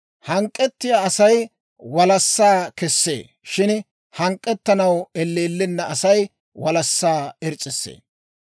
Hank'k'ettiyaa Asay walassaa kessee; shin hank'k'ettanaw elleellenna Asay walassaa irs's'issee.